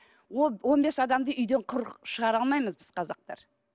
ол он бес адамды үйден құр шығара алмаймыз біз қазақтар